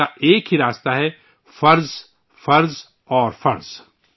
جس کا ایک ہی راستہ ہے فرض، فرض اور فرض